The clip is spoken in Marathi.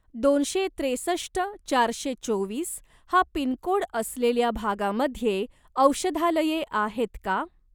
दोनशे त्रेसष्ट चारशे चोवीस हा पिनकोड असलेल्या भागामध्ये औषधालये आहेत का?